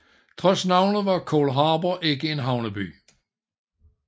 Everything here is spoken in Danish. Trods navnet var Cold Harbor ikke en havneby